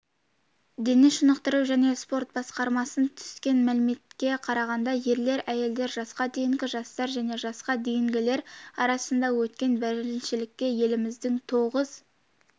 дене шынықтыру және спорт басқармасынан түскен мәліметке қарағанда ерлер әйелдер жасқа дейінгі жастар және жасқа дейінгілер арасында өткен біріншілікке еліміздің тоғыз